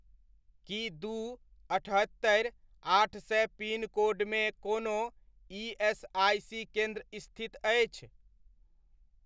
की दू, अठहत्तरि, आठ सए पिनकोडमे कोनो ईएसआइसी केन्द्र स्थित अछि ?